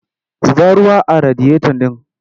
Zuba ruwa a radiyota ɗin!